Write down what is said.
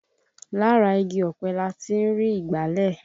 Lára igi ọ̀pẹ láti ń rí ìgbálẹ̀